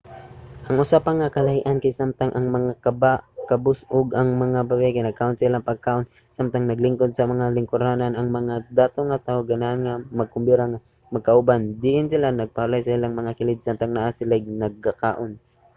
ang usa pa nga kalahi-an kay samtang ang mga kabus ug ang babaye kay nagkaon sa ilang pagkaon samtang naglingkod sa mga lingkuranan ang mga dato nga tawo ganahan nga magkombira nga magkauban diin sila magpahulay sa ilang mga kilid samtang sila kay nagakaon